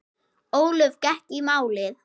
Ólöf gekk í málið.